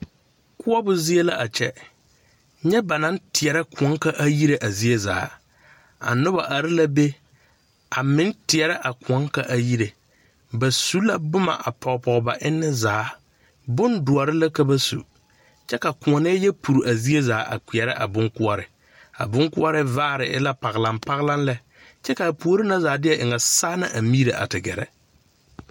Koɔbo zie la a kyɛ nyɛ ba naŋ teɛrɛ kõɔ ka a yire a zie zaa a nobɔ are la be a meŋ teɛrɛ a kõɔ ka a yire ba su la boma a pɔge pɔge ba eŋne zaa bondoɔre la ka ba su kyɛ ka kõɔnɛɛ yɛ puri a zie zaa a kpeɛrɛ a bon koɔre a bon koɔre vaare e la paglaŋpalaŋ lɛ kyɛ kaa puore na zaa ti ŋa saa na a miire a te gɛrɛ.